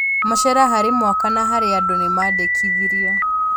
Macera Harĩ mwaka na harĩ andũ nĩmandĩkithirio